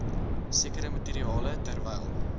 sekere materiale terwyl